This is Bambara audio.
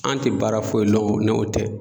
An ti baara foyi lɔn ni o tɛ